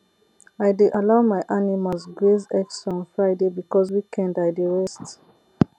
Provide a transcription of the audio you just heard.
i dey allow my animals graze extra on friday because weekend i dey rest